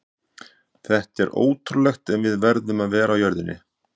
Þetta er ótrúlegt en við verðum að vera á jörðinni.